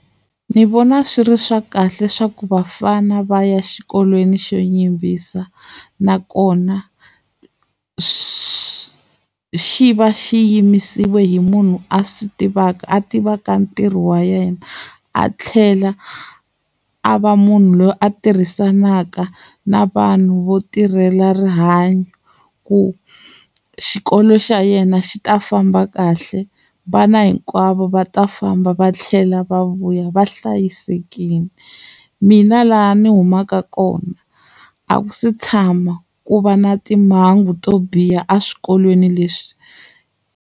Ndzi vona swi ri swa kahle swa ku bafana va ya xikolweni xo yimbisa nakona swi xi va xi yimisiwa hi munhu a swi tivaka a tiva ka ntirho wa yena a tlhela a a va munhu loyi a tirhisanaka na vanhu vo tirhela rihanyo ku xikolo xa yena xi ta famba kahle vana hinkwavo va ta famba va tlhela va vuya va hlayisekile mina laha ni humaka kona a ku se tshama ku va na timhangu to biha eswikolweni leswi.